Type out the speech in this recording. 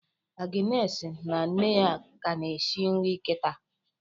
Agnes na nne ya ka na-eshi nri kịta